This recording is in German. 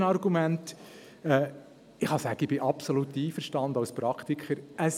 Das dritte Argument: Ich kann sagen, ich bin als Praktiker absolut einverstanden: